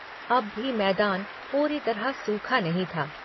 अब भी मैदान पूरी तरह सूखा नहीं था।